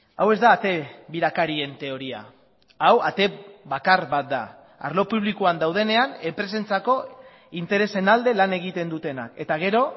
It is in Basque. hau ez da ate birakarien teoria hau ate bakar bat da arlo publikoan daudenean enpresentzako interesen alde lan egiten dutenak eta gero